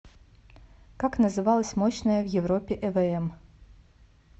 как называлась мощная в европе эвм